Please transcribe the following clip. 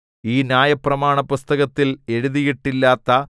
ഈ ന്യായപ്രമാണപുസ്തകത്തിൽ എഴുതിയിട്ടില്ലാത്ത